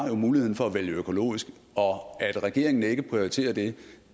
muligheden for at vælge økologisk og at regeringen ikke prioriterer det